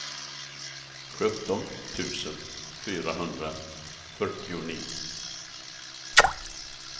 sjutton tusen fyrahundrafyrtionio